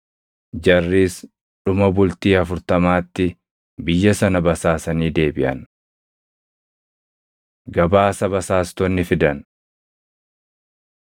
Jarris dhuma bultii afurtamaatti biyya sana basaasanii deebiʼan. Gabaasa Basaastonni Fidan